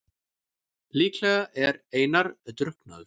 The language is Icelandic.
Líklega er Einar drukknaður.